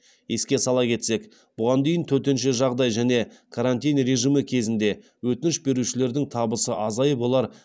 еске сала кетсек бұған дейін төтенше жағдай және карантин режимі кезінде өтініш берушілердің табысы азайып олар